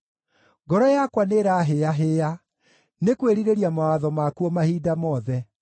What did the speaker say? Ngoro yakwa nĩĩrahĩĩahĩĩa nĩ kwĩrirĩria mawatho maku o mahinda mothe.